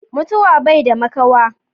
Mutuwa baida makawa.